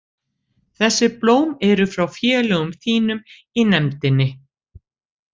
Þessi blóm eru frá félögum þínum í nefndinni.